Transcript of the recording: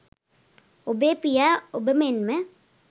ඔබේ පියා ඔබ මෙන්ම